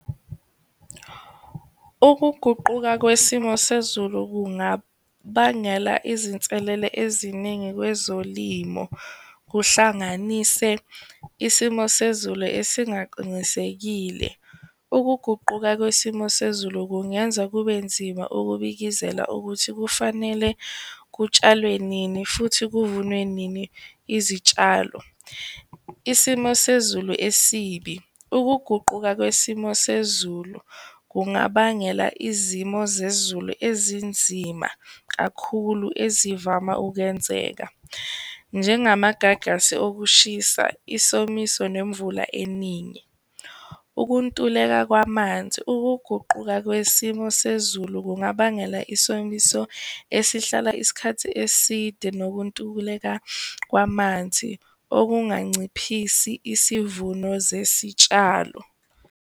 Ukuguquka kwesimo sezulu kungabangela izinselele eziningi kwezolimo, kuhlanganise isimo sezulu esingaqinisekile. Ukuguquka kwesimo sezulu kungenza kube nzima ukubikizela ukuthi kufanele kutshalwe nini futhi kuvunwe nini izitshalo. Isimo sezulu esibi, ukuguquka kwesimo sezulu kungabangela izimo zezulu ezinzima kakhulu ezivama ukuyenzeka, njengamagagasi okushisa, isimiso nemvula eningi. Ukuntuleka kwamanzi, ukuguquka kwesimo sezulu kungabangela isomiso esihlala isikhathi eside nokuntukuleka kwamanzi okunganciphisi isivuno zesitshalo.